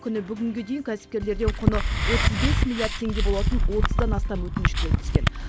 күні бүгінге дейін кәсіпкерлерден құны отыз бес миллиард теңге болатын отыздан астам өтініш келіп түскен